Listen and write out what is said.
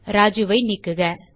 Rajuஐ நீக்குக